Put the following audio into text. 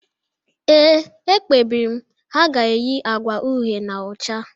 Ee, e kpebiri m: Ha ga-eyi agwa uhe na ọcha